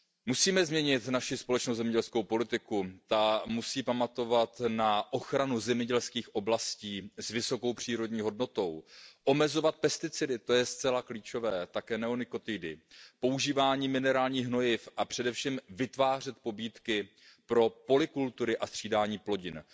Musíme změnit naši společnou zemědělskou politiku, ta musí pamatovat na ochranu zemědělských oblastí s vysokou přírodní hodnotou, omezovat pesticidy, to je zcela klíčové, také neonikotidy, používání minerálních hnojiv a především vytvářet pobídky pro polykultury a střídání plodin.